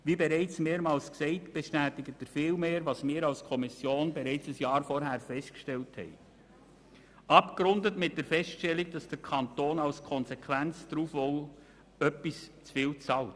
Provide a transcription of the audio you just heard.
Wie bereits mehrmals gesagt, bestätigt er vielmehr, was wir als Kommission bereits ein Jahr zuvor festgestellt haben, abgerundet mit der Feststellung, dass der Kanton als Konsequenz daraus etwas zu viel bezahlt.